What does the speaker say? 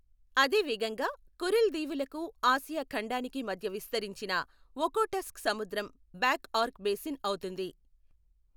అదే విధంగా కురిల్ దీవులకు ఆసియా ఖండానికి మధ్య విస్తరించిన ఒఖోటస్క్ సముద్రం బ్యాక్ ఆర్క్ బేసిన్ అవుతుంది.